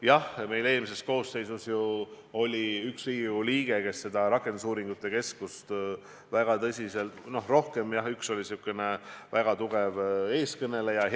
Jah, eelmises koosseisus oli meil üks Riigikogu liige, kes oli rakendusuuringute keskuse heas mõttes eestkõneleja.